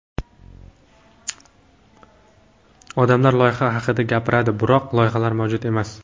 Odamlar loyiha haqida gapiradi, biroq loyihalar mavjud emas.